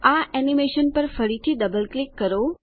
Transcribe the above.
આ એનીમેશન પર ફરીથી ડબલ ક્લિક કરો